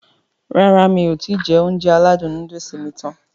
Rárá mi kò ti jẹ Ounjẹ aládùn nóódùsì mi tán